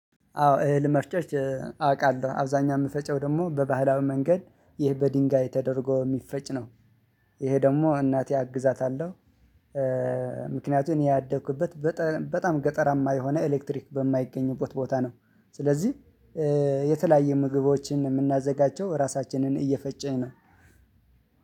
አዎ እህል መፍጨት አውቃለሁ አብዛኛው የምፈጨው ደግሞ በባህላዊ መንገድ ይህ በድንጋይ ተደርጎ የሚፈጭ ነው። ይሄ ደግሞ እናቴ አግዛታለሁ። ምክንያቱን ያደኩበት በጣም ገጠራማ የሆነ ኤሌክትሪክ በማይገኝበት ቦታ ነው። ስለዚህ የተለያየ ምግቦችን የምናዘጋጀው ራሳችንን እየፈጨ ነው።